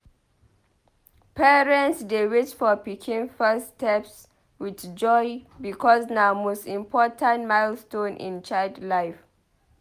Parents dey wait for pikin first steps with joy because na most important milestone in child life.